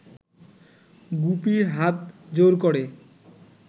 গুপি হাত জোড় ক’রে